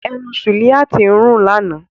Ẹnu Suliat ń rùn lánàá.